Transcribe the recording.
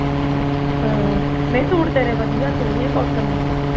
ਹਾਂ ਨਹੀਂ ਸੂਟ ਤੇਰੇ ਵਧੀਆ ਸੋਹਣੇ ਆ cotton ਦੇ